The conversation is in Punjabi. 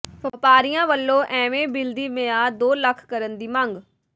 ਵਪਾਰੀਆਂ ਵਲੋਂ ਈਵੇ ਬਿੱਲ ਦੀ ਮਿਆਦ ਦੋ ਲੱਖ ਕਰਨ ਦੀ ਮੰਗ